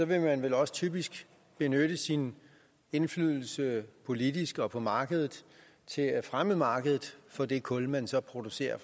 vil man vel også typisk benytte sin indflydelse politisk og på markedet til at fremme markedet for det kul man så producerer